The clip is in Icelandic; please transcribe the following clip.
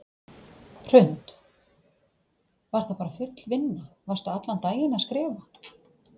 Hrund: Var það bara full vinna, varstu allan daginn að skrifa?